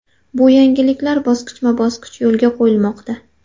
Bu yangiliklar bosqichma-bosqich yo‘lga qo‘yilmoqda.